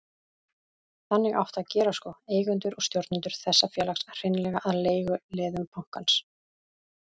Þannig átti að gera sko, eigendur og stjórnendur þessa félags, hreinlega að leiguliðum bankans.